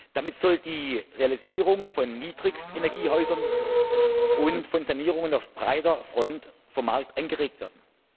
Damit soll die Realisierung von Niedrigstenergiehäusern und von Sanierungen auf breiter Front vom Markt angeregt werden.